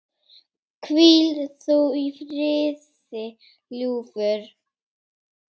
Hvíl þú í friði, ljúfur.